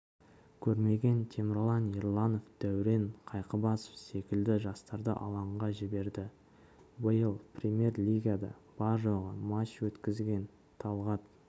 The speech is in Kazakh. көрмеген темірлан ерланов дәурен қайқыбасов секілді жастарды алаңға жіберді биыл премьер-лигада бар-жоғы матч өткізген талғат